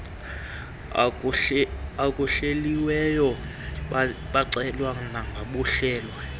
okuhleliweyo bacelwa nobuhlelwe